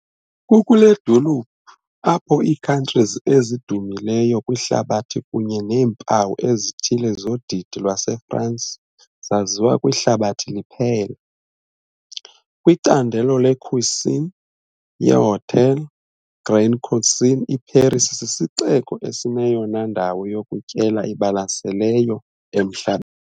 Kukule dolophu apho ii-couturiers ezidumileyo kwihlabathi kunye neempawu ezithile zodidi lwaseFrance zaziwa kwihlabathi liphela. Kwicandelo le-cuisine ye-haute, Grande Cuisine, iParis sisixeko esineyona ndawo yokutyela ibalaseleyo emhla.